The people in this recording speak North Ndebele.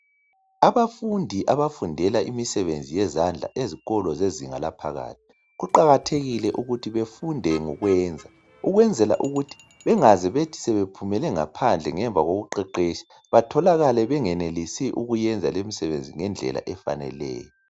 Abafundi abafundela imisebenzi yezandla ezikolo zezinga laphakathi kuqakathekile ukuthi befunde ngokwenza ukwenzela ukuthi bengaze bethi sebephumele ngaphandle ngemva koku qeqetsha batholakale bengenelisi ukuyenza lemsebenzi ngendlela efaneleyo.